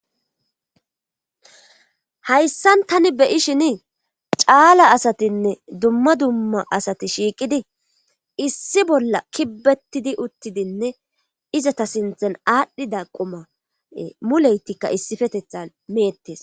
Hayssan tani beyishini caala asatinne dumma dumma asati shiiqidi issi bolla kibbetidi uttidinne izata sinthen aadhdhida qoma muleytikka issifetetha meettes.